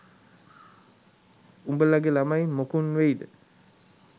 උඹලගේ ළමයි මොකුන් වෙයිද